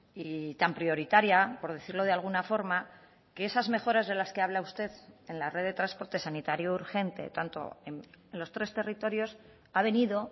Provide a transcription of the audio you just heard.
y tan prioritaria por decirlo de alguna forma que esas mejoras de las que habla usted en la red de transporte sanitario urgente tanto en los tres territorios ha venido